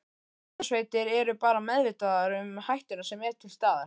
Björgunarsveitir eru bara meðvitaðar um hættuna sem er til staðar?